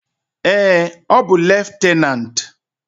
Ee, ọ bụ leftenant.